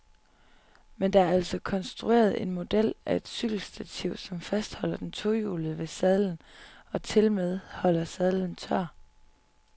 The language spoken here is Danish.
Men der er altså konstrueret en model af et cykelstativ, som fastholder den tohjulede ved sadlen og tilmed holder sadlen tør.